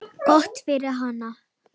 Gott fyrir hana.